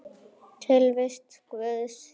Tilvist Guðs